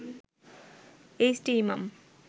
H T Imam